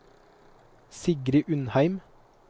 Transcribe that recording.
Sigrid Undheim